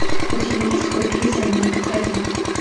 у тебя есть купи займи укради